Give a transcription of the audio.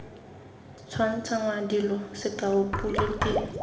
tshwantshangwa dilo sekao pule ke